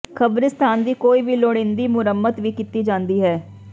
ਕਬਰਸਤਾਨ ਦੀ ਕੋਈ ਵੀ ਲੋੜੀਂਦੀ ਮੁਰੰਮਤ ਵੀ ਕੀਤੀ ਜਾਂਦੀ ਹੈ